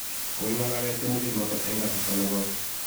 kokingalale tiemutiet notok eng kasarta ne koi